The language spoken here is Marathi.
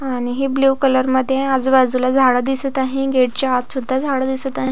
आणि हे ब्ल्यु कलर मध्ये आजूबाजूला झाड दिसत आहे गेट च्या आत सुद्धा झाड दिसत आहे.